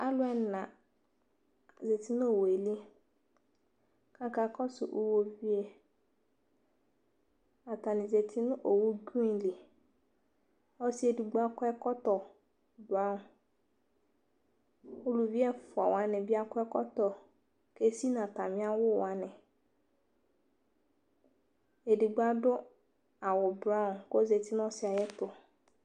Alʋ ɛna zati nʋ owu yɛ li Akakɔsʋ iwoviwu e Atani zati nʋ owu grin li Ɔsi edigbo akɔ ɛkɔtɔ braŋ Uluvi ɛfua wani bi akɔ ɛkɔtɔ kesi nʋ atami awʋ wani Ɛdigbo adu awʋ braŋ kɔzeti nʋ ɔsi yɛ ayɛtʋ